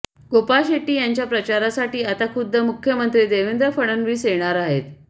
गोपाळ शेट्टी यांच्या प्रचारासाठी आता खुद्द मुख्यमंत्री देवेंद्र फडणवीस येणार आहेत